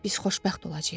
Biz xoşbəxt olacağıq.